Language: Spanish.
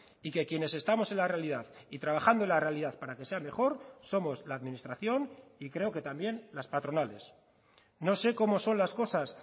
y que quienes estamos en la realidad y trabajando en la realidad para que sea mejor somos la administración y creo que también las patronales no sé cómo son las cosas